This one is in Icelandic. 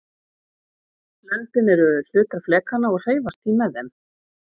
löndin eru hlutar flekanna og hreyfast því með þeim